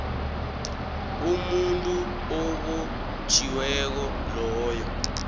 umuntu obotjhiweko loyo